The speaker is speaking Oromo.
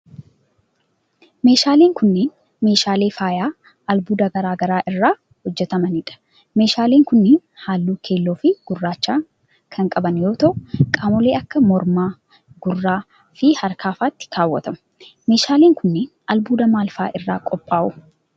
Meeshaaleen kunneen, meeshaalee faayaa albuuda garaa garaa irraa hojjatamanii dha. Meeshaaleen kunneen, haalluu keelloo fi gurraacha kan qaban yoo ta'u, qaamolee akka morma, gurra fi harka faatti kaawwatamu. Meeshaaleen kunneen, albuuda maal faa irraa qophaa'u?